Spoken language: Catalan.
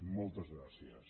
moltes gràcies